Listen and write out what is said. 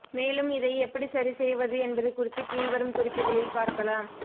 மேலும் இதை எப்படி சரிசெய்வது என்பது குறித்து கீழ்வரும் குறிப்புகளில் பார்க்கலாம்